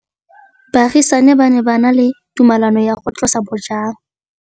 Baagisani ba ne ba na le tumalanô ya go tlosa bojang.